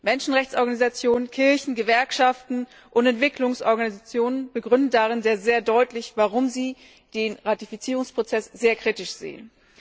Menschenrechtsorganisationen, Kirchen, Gewerkschaften und Entwicklungsorganisationen begründeten darin sehr deutlich, warum sie den Ratifizierungsprozess sehr kritisch sehen.